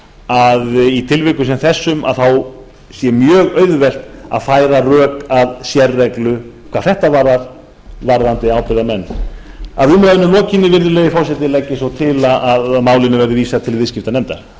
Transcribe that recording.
að í tilvikum sem þessum sé mjög auðvelt að færa rök að sérreglu hvað þetta varðar varðandi ábyrgðarmenn að umræðunni lokinni virðulegi forseti legg ég svo til að málinu verði vísað til viðskiptanefndar